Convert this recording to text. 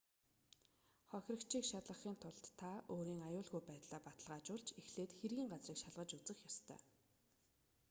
хохирогчийг шалгахын тулд та өөрийн аюулгүй байдлаа баталгаажуулж эхлээд хэргийн газрыг шалгаж үзэх ёстой